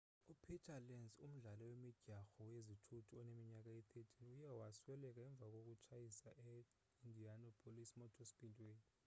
upeter lenz umdlali wemidyarho yezithuthu oneminyaka eyi-13 uye wasweleka emva kokutshayisa e-indianapolis motor speedway